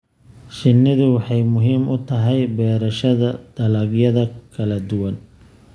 Shinnidu waxay muhiim u tahay beerashada dalagyada kala duwan.